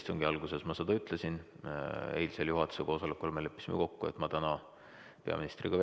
Istungi alguses ma ütlesin, et eilsel juhatuse koosolekul me leppisime kokku, et ma täna vestlen peaministriga.